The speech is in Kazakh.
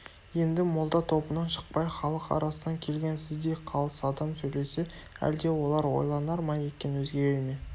енді молда тобынан шықпай халық арасынан келген сіздей қалыс адам сөйлесе әлде олар ойланар ма екен өзгерер ме